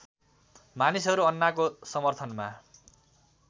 मानिसहरू अन्नाको समर्थनमा